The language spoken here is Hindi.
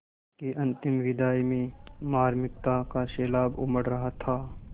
उसकी अंतिम विदाई में मार्मिकता का सैलाब उमड़ रहा था